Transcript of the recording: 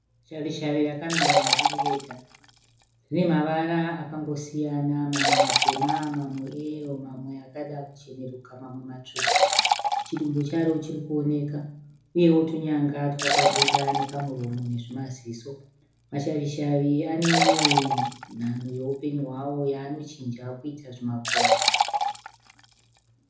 Shavishavi rakamira riri rega . Rine mavara akangosiyana. Mamwe matema , mamwe e yero mamwe akada kucheneruka mamwe matsvuku. Chidumbu charo chirikuoneka. Uyewo tunyanga twakabuda nekamuromo nezvimaziso. Mashavishavi aneimwe nhanho yeupenyu hwavo yaanochinja kuita zvimakonye.